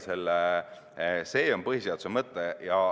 See on põhiseaduse mõtte.